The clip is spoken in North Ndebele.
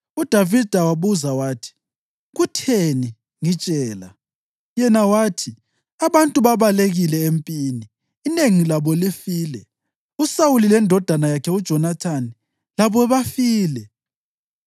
UDavida wabuza wathi, “Kutheni? Ngitshela.” Yena wathi, “Abantu babalekile empini. Inengi labo lifile. USawuli lendodana yakhe uJonathani labo bafile?”